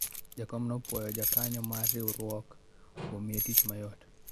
jakom ne opwoyo jokanyo mar riwruok kuom miye tich mayot